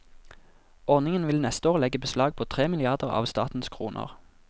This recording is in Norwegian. Ordningen vil neste år legge beslag på tre milliarder av statens kroner.